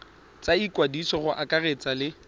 tsa ikwadiso go akaretsa le